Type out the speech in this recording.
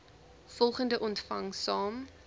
volgende ontvang saam